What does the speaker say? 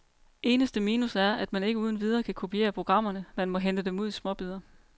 Eneste minus er, at man ikke uden videre kan kopiere programmerne, man må hente dem ud i småbidder.